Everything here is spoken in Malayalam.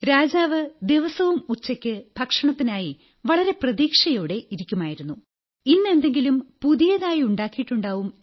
രാജാവ് ദിവസവും ഉച്ചയ്ക്ക് ഭക്ഷണത്തിനായി വളരെ പ്രതീക്ഷയോടെ ഇരിക്കുമായിരുന്നു ഇന്ന് എന്തെങ്കിലും പുതിയതായി ഉണ്ടാക്കിയിട്ടുണ്ടാകും